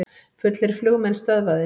Fullir flugmenn stöðvaðir